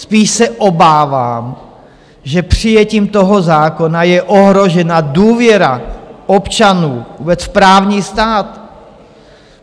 Spíš se obávám, že přijetím toho zákona je ohrožena důvěra občanů vůbec v právní stát.